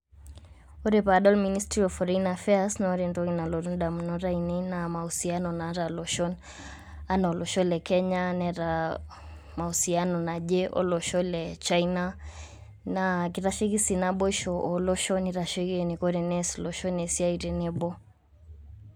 Ore padol Ministry of Foreign Affairs, na ore entoki nalotu indamunot ainei naa, mausiano naata iloshon. Enaa olosho le Kenya, neeta mausiano naje olosho le China. Na kitasheiki si naboisho oloshon, nitasheki eniko tenees iloshon esiai tenebo.